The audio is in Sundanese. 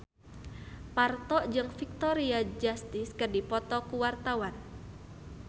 Parto jeung Victoria Justice keur dipoto ku wartawan